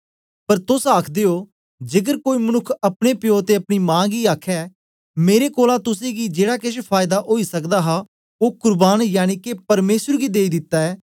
पर तोस आखदे ओ जेकर कोई मनुक्ख अपने प्यो ते अपनी मां गी आखे मेरे कोलां तुसेंगी जेड़ा केछ फायदा ओई सकदा हा ओ कुर्बान यनिके परमेसर गी देई दिता ऐ